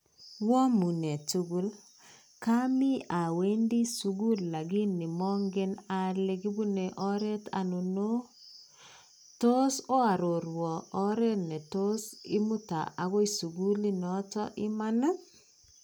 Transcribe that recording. Oamunee tugul kami awendi sukul lakini mongen ale kipune oret aino, tos oaroruon oret netos imuta agoi sukulinoton iman ii?